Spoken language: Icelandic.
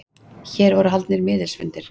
Hér voru haldnir miðilsfundir.